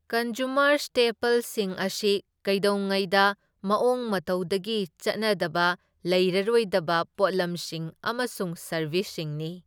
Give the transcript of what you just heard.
Consumer ꯁ꯭ꯇꯦꯄꯜꯁꯤꯡ ꯑꯁꯤ ꯀꯩꯗꯧꯉꯩꯗ ꯃꯑꯣꯡ ꯃꯇꯧꯗꯒꯤ ꯆꯠꯅꯗꯕ ꯂꯩꯔꯔꯣꯏꯗꯕ ꯄꯣꯠꯂꯝꯁꯤꯡ ꯑꯃꯁꯨꯡ ꯁꯔꯕꯤꯁꯁꯤꯡꯅꯤ꯫